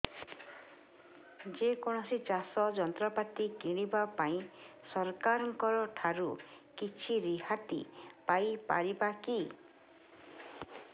ଯେ କୌଣସି ଚାଷ ଯନ୍ତ୍ରପାତି କିଣିବା ପାଇଁ ସରକାରଙ୍କ ଠାରୁ କିଛି ରିହାତି ପାଇ ପାରିବା କି